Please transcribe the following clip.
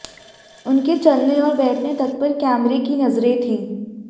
उनके चलने औऱ बैठने तक पर कैमरे की नजरें थी